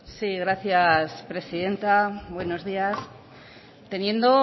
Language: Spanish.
sí gracias presidenta buenos días teniendo